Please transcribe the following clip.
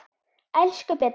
Elsku Beta.